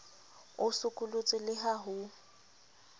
o sokolotswe le ha ho